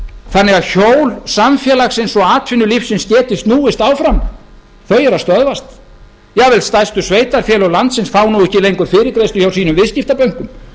þannig að hjól samfélagsins og atvinnulífsins geti snúist áfram þau eru að stöðvast jafnvel stærstu sveitarfélög landsins fá nú ekki lengur fyrirgreiðslu hjá sínum viðskiptabönkum